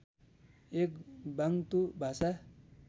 एक बाङ्तु भाषा